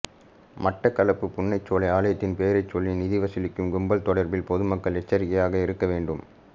மட்டக்களப்பு புன்னைச்சோலை ஆலயத்தின் பெயரைச் சொல்லி நிதி வசூலிக்கும் கும்பல் தொடர்பில் பொதுமக்கள் எச்சரிக்கையாக இருக்கவேண்டும்